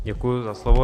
Děkuji za slovo.